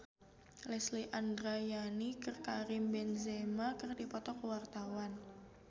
Lesti Andryani jeung Karim Benzema keur dipoto ku wartawan